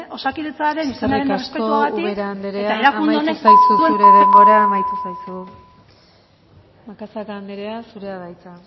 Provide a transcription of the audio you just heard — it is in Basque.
osakidetzaren izenaren errespetuagatik eta erakunde honek eskerrik asko ubera andrea amaitu zaizu zure denbora amaitu zaizu macazaga andrea zurea da hitza